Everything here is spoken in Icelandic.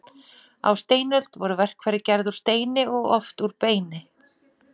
Á steinöld voru verkfæri gerð úr steini og oft úr beini.